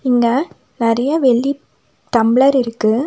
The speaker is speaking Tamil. இங்க நெறைய வெள்ளி டம்ளர் இருக்கு.